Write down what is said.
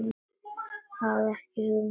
Hafði ekki hugmynd um þetta.